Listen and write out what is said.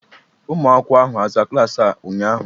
ụmụ akwụkwọ ahụ a zaa klaasị a ụnyahụ?